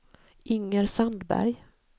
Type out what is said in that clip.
Inger Sandberg